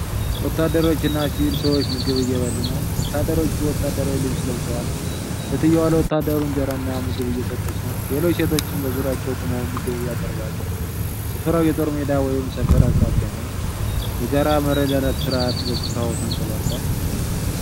ወታደሮች እና ሲቪል ሰዎች ምግብ እየበሉ ነው። ወታደሮቹ ወታደራዊ ልብስ ለብሰዋል። ሴትዮዋ ለወታደሩ እንጀራና ምግብ እየሰጠች ነው። ሌሎች ሴቶችም በዙሪያቸው ቆመው ምግብ ያቀርባሉ። ስፍራው የጦር ሜዳ ወይም ሰፈር አቅራቢያ ነው። የጋራ መረዳዳት ሥርዓት በስፍራው ተንጸባርቋል።